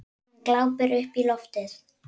Hún glápir upp í loftið.